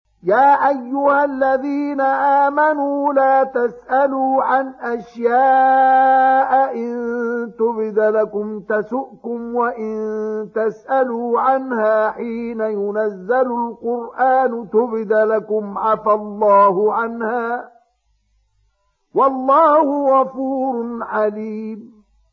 يَا أَيُّهَا الَّذِينَ آمَنُوا لَا تَسْأَلُوا عَنْ أَشْيَاءَ إِن تُبْدَ لَكُمْ تَسُؤْكُمْ وَإِن تَسْأَلُوا عَنْهَا حِينَ يُنَزَّلُ الْقُرْآنُ تُبْدَ لَكُمْ عَفَا اللَّهُ عَنْهَا ۗ وَاللَّهُ غَفُورٌ حَلِيمٌ